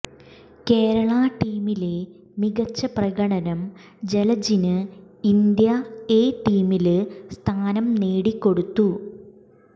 കേരളാ ടീമിലെ മികച്ച പ്രകടനം ജലജിന് ഇന്ത്യ എ ടീമില് സ്ഥാനം നേടിക്കൊടുത്തു